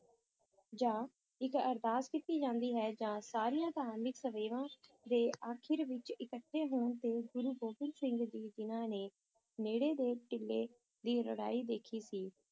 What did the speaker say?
ਜਾਂ ਇੱਕ ਅਰਦਾਸ ਕੀਤੀ ਜਾਂਦੀ ਹੈ ਜਾਂ ਸਾਰੀਆਂ ਧਾਰਮਿਕ ਸੇਵਾਵਾਂ ਦੇ ਅਖੀਰ ਵਿੱਚ ਇਕੱਠੇ ਹੋਣ ਤੇ ਗੁਰੂ ਗੋਬਿੰਦ ਸਿੰਘ ਜੀ, ਜਿਨ੍ਹਾਂ ਨੇ ਨੇੜੇ ਦੇ ਟਿੱਲੇ ਦੀ ਲੜਾਈ ਦੇਖੀ ਸੀ,